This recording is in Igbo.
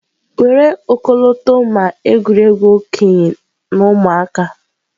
Were ọkọlọtọ ma egwuregwu okenye na ụmụaka.